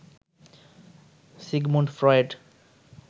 Sigmund Freud